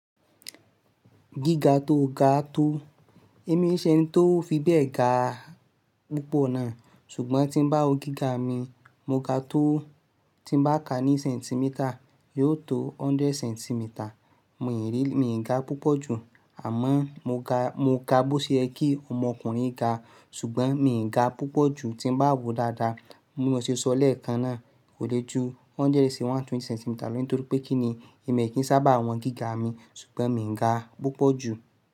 Gíga tó ga tó, èmi ṣé ni tó fi bẹ́ẹ̀ ga púpọ̀ náà, ṣùgbọ́n tí ń bá wo gíga mi, mo ga tó tí ń bá ka ní centimeter, yóò tó hundred centimeter. Mò ì rí, mi ò ga púpọ̀ jù, àmọ́ mo ga, mo ga bó ṣe ẹ kí ọmọkùnrin ga, ṣùgbọ́n mi ò ga púpọ̀ jù tí ń bá wo dáadáa. Bi mo sé sọ lẹ́ẹ̀kan náà kò lè ju hundred sí one twenty centimeter lọ, nítorí pé kí ni èmi kì í sábà wọn gíga mi, ṣùgbọ́n mi ò ga púpọ̀ jù.